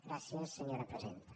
gràcies senyora presidenta